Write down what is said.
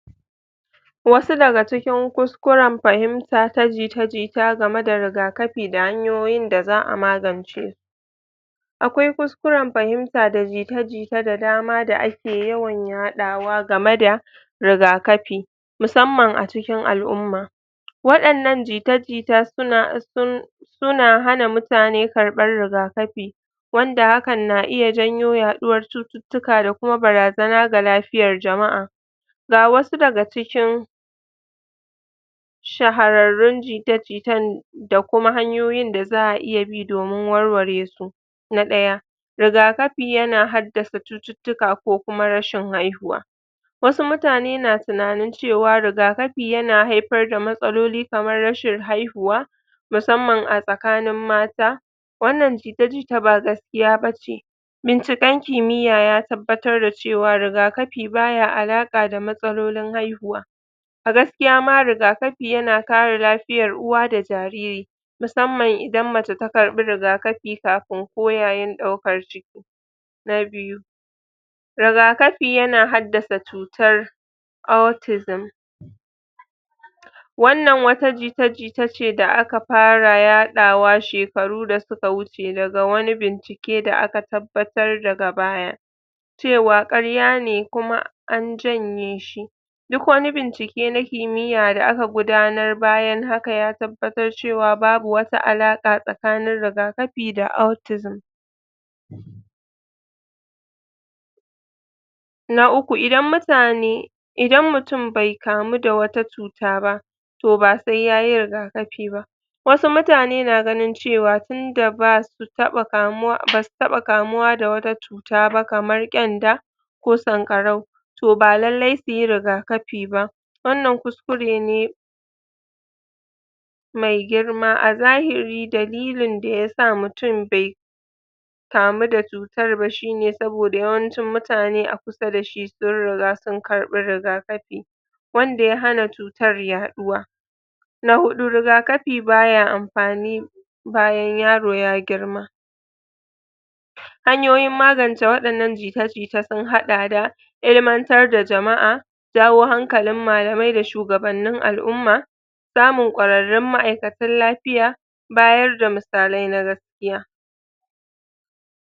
Wasu daga cikin kuskuren pahimta ta jita jita game da rigakapi da hanyoyin da za'a magance akwai kuskuren pahimta da jita jita da dama da ake yawan yaɗawa game da rigakapi, musamman a cikin al'umma waɗannan jita jita suna cikin...suna hana mutane karɓan rigakapi wanda hakan na iya janyo yaɗuwar cututtuka da kuma barazana ga lapiyar jama'a ga wasu daga cikin shahararrun jita jitan da kuma hanyoyin da za'a iya bi domin warware su na ɗaya rigakapi yana haddace cututtuka ko kuma rashin haihuwa wasu mutane na tunanin cewa rigakapi yana haipar da matsaloli kamar rashin haihuwa musamman a tsakanin mata wannan jita jita ba gaskiya bace, binciken kimiya ya tabbatar da cewa rigakapi baya aratsa da matsalolin haihuwa gaskiya ma rigakapi yana kare lapiyar uwa da jariri musamman idan mace ta karɓi rigakapi kapin ko yayin ɗaukar ciki na biyu rigakapi yana haddasa cutar autism wannan wata jita jitace da aka para yaɗawa shekaru da suka wuce daga wani bincike da aka tabbatar daga baya cewa ƙarya ne kuma an janye shi duk wani bincike na kimiya da aka gudanar bayan haka ya tabbatar cewa babu wata aratsa tsakanin rigakapi da autism na uku, idan mutane...idan mutum bai kamu da wata cuta ba, ba sai ya yi rigakapi ba wasu mutane na ganin cewa tunda basu taɓa kamuwa da wata cuta ba kamar ƙenda ko sanƙarau, toh ba lallai su yi rigakapi ba, wannan kuskure ne mai girma a zahiri dalilin da ya sa mutum bai kamu da cutar ba shi ne saboda yawancin mutane a kusa da shi sun riga sun karɓi rigakapi wanda ya hana cutar yaɗuwa na huɗu, rigakapi ba ya ampani bayan yaro yayi girma hanyoyin maganta waɗannan jita jitan sun haɗa da ilimantar da jama'a, jawo hankalin malamai da shugaban al'umma samun ƙwararrun ma'aikatan lapiya bayar da misalai na gaskiya.